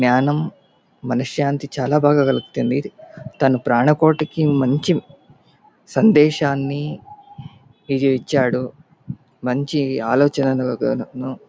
జ్ఞానం మనస్సంతి చల్ బాగా కలుగుతుంది. తన ప్రాణ కోటికి మంచి సందేశాన్ని ఇది ఇచ్చాడు. మంచి ఆలోచనను--